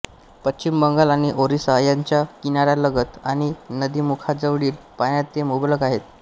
पश्चिम बंगाल आणि ओरिसा यांच्या किनाऱ्यालगत आणि नदीमुखाजवळील पाण्यात ते मुबलक आहेत